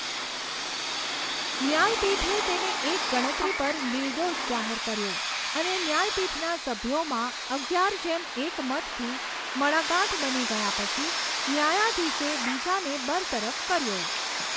ન્યાયપીઠે તેને એક ગણતરી પર નિર્દોષ જાહેર કર્યો, અને ન્યાયપીઠના સભ્યોમાં અગિયાર જેમ એક મતથી મડાગાંઠ બની ગયા પછી ન્યાયાધીશે બીજાને બરતરફ કર્યો.